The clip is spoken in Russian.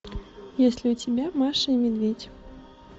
есть ли у тебя маша и медведь